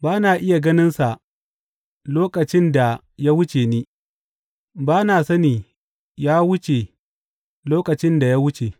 Ba na iya ganinsa lokacin da ya wuce ni; ba na sani ya wuce lokacin da ya wuce.